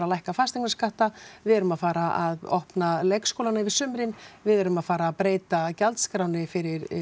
að lækka fasteignaskatta við erum að fara að opna leikskólana yfir sumrin við erum að fara breyta gjaldskránni fyrir